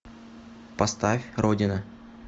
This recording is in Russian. поставь родина